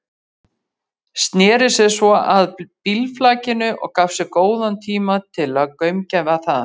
Sneri sér svo að bílflakinu og gaf sér góðan tíma til að gaumgæfa það.